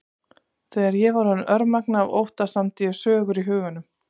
Þegar ég var orðin örmagna af ótta samdi ég sögur í huganum.